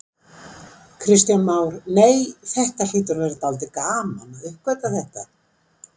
Kristján Már: Nei, þetta hlýtur að vera dálítið gaman að uppgötva þetta?